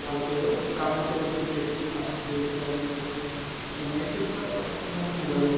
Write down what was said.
ভালকৈ কামত অলপ busy আছিলো না to সেইটো কাৰণে অসুবিধা এনেতো প্ৰায় mobile তে